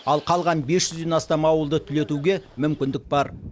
ал қалған бес жүзден астам ауылды түлетуге мүмкіндік бар